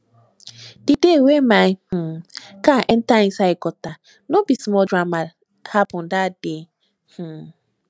di day wey my um car enta inside gutter no be small drama happen dat day um